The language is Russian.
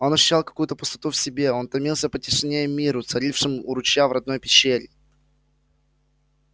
он ощущал какую то пустоту в себе он томился по тишине и миру царившим у ручья и в родной пещере